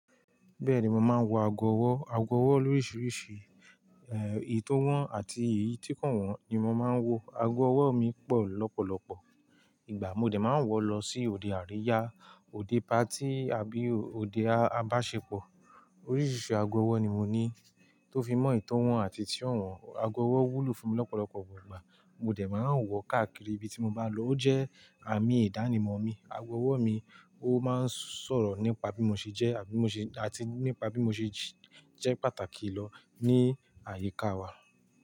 Bẹ́ẹ̀ni, mo máa ń wọ ago ọwọ́. Ago ọwọ́ lóríṣiríṣi, eyi, t'ọ́wọ̀n àti eyi ti ko wọ̀n ni mo máa ń wọ. Ago ọwọ́ mi pọ̀ lọ́pọ̀lọpọ̀. Ìgbà mo dẹ̀ máa ń wọ̀ lọ sí òde àríyá, òde patí àbí òde a-àbáṣepọ̀. Oríṣiríṣi ago ọwọ́ ni mo ní tó fi mọ eyì tọ́wọ̀n àti eyi tí o wọ̀n. Ago ọwọ́ wúlò fún mi lọ́pọ̀lọpọ̀ ìgbà, mo dẹ̀ máa ń wọ̀ káàkiri ibi tí mo bá lọ. Ó jẹ́ àmì ìdánimọ̀ mi. Ago ọwọ́ mi, ó máa ń sọ̀rọ̀ nípa bí mo ṣe jẹ́ àbí mo ṣe-- àti nípa bí mo ṣe jẹ́ pàtàkì lọ ní àyíká wa.